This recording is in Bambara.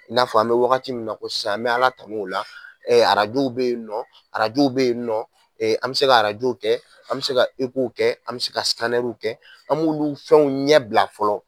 I n'a fɔ an be wagati min na ko sisan an bɛ Ala tan'o la, arajow be yen nɔ, arajow be yen nɔ an bɛ se ka w kɛ an me se ka w kɛ, an me se ka w kɛ, an m'olu fɛnw ɲɛ bila fɔlɔ